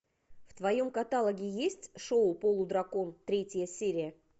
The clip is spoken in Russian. в твоем каталоге есть шоу полудракон третья серия